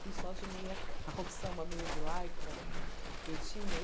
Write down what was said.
Fui só de meia calça, uma meia de lycra, que eu tinha.